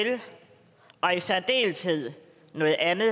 og i særdeleshed noget andet